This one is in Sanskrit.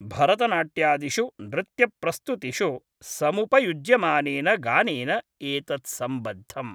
भरतनाट्यादिषु नृत्यप्रस्तुतिषु समुपयुज्यमानेन गानेन एतत् सम्बद्धम्।